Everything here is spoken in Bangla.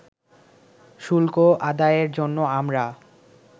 শুল্ক আদায়ের জন্য আমরা